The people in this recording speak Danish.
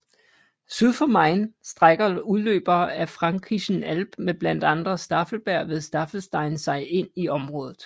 Syd for Main strækker udløbere af Fränkischen Alb med blandt andre Staffelberg ved Staffelstein sig ind i området